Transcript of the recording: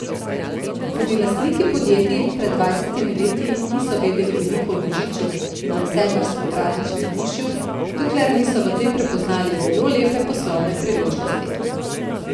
Tudi lastniki podjetij pred dvajsetimi leti niso vedeli veliko o božiču in decembrskem prazničnem vzdušju, dokler niso v tem prepoznali zelo lepe poslovne priložnosti.